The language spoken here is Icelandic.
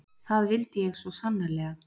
Það vildi ég svo sannarlega.